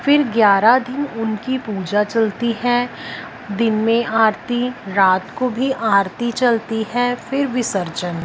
फिर ग्यारा दिन उनकी पूजा चलती है दिन में आरती रात को भी आरती चलती है फिर विसर्जन--